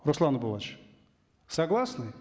руслан согласны